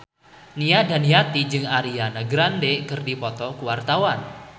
Nia Daniati jeung Ariana Grande keur dipoto ku wartawan